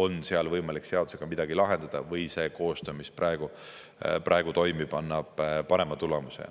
on seal võimalik seadusega midagi lahendada või see koostöö, mis praegu toimib, annab parema tulemuse.